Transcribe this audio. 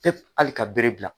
Te ali ka bere bila